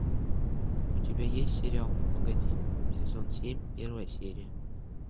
у тебя есть сериал ну погоди сезон семь первая серия